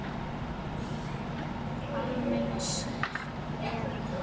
almenns eðlis.